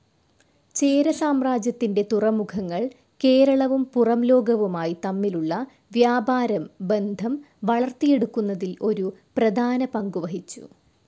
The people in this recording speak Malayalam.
ചേര സാമ്രാജ്യത്തിന്റെ തുറമുഖങ്ങൾ കേരളവും പുറംലോകവുമായി തമ്മിലുള്ള വ്യാപാരം ബന്ധം വളർത്തിയെടുക്കുന്നതിൽ ഒരു പ്രധാന പങ്കുവഹിച്ചു.